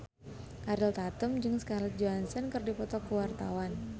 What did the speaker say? Ariel Tatum jeung Scarlett Johansson keur dipoto ku wartawan